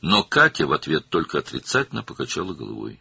Lakin Katya cavab olaraq yalnız başını mənfi şəkildə yellədi.